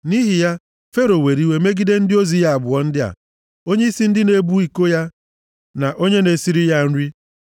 Nʼihi ya, Fero were iwe megide ndị ozi ya abụọ ndị a, onyeisi ndị na-ebu iko ya na onye na-esiri ya nri.